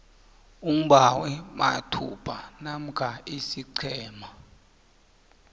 umbawimathupha namkha isiqhema